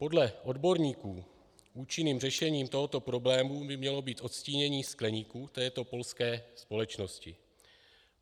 Podle odborníků účinným řešením tohoto problémy by mělo být odstínění skleníků této polské společnosti.